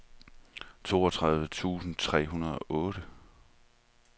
toogtredive tusind tre hundrede og otte